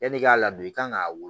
Yanni k'a ladon i kan k'a wolo